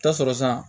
Taa sɔrɔ sisan